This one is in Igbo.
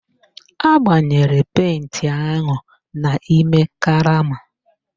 Agbanyere penti ahụ n'ime karama